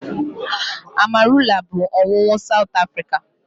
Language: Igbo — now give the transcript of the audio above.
Amarula bụ ọṅụṅụ South Africa